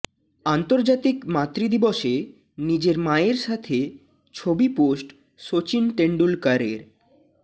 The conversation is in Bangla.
আন্তর্জাতিক মাতৃদিবসে নিজের মায়ের সাথে ছবি পোস্ট সচিন টেন্ডুলকারের